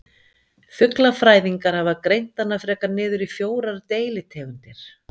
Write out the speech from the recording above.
Fuglafræðingar hafa greint hana frekar niður í fjórar deilitegundir.